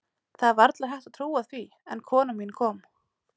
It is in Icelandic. Það er varla hægt að trúa því, en konan mín kom.